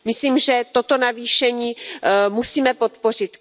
Myslím, že toto navýšení musíme podpořit.